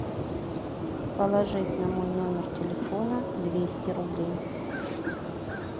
положить на мой номер телефона двести рублей